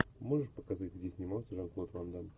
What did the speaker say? можешь показать где снимался жан клод ван дамм